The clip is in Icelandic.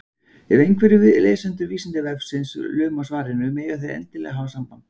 Ef einhverjir lesendur Vísindavefsins luma á svarinu, mega þeir endilega hafa samband!